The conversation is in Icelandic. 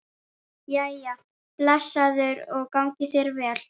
Jæja, blessaður og gangi þér vel